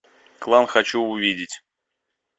клан хочу увидеть